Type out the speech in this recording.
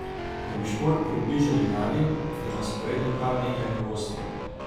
Da bi šport približali mladim, je na sporedu kar nekaj novosti.